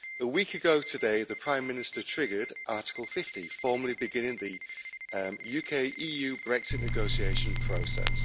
A week ago today, the Prime Minister triggered Article 50, formally beginning the UK EU Brexit negotiation process.